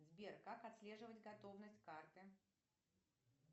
сбер как отслеживать готовность карты